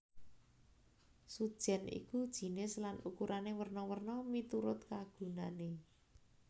Sujèn iku jinis lan ukurané werna werna miturut kagunané